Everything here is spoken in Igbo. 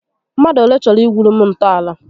Mmadụ olé chọrọ igwuuru m ntọàlà?